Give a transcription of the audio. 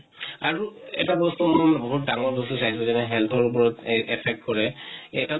আৰু এটা বস্তু, ম বহুত ডাঙৰ বস্তু চাইছো যেনে health ৰ ওপৰত এই affect কৰে । এটা